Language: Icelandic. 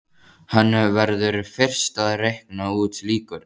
Hann verður fyrst að reikna út líkurnar.